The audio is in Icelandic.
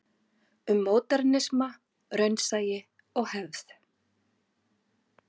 Um módernisma, raunsæi og hefð.